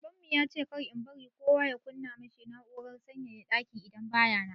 Babanmu ya ce kar in bari kowa ya kunna ma shi na'urar sanyaya daki in baya nan.